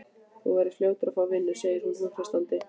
Þú verður fljótur að fá vinnu, segir hún hughreystandi.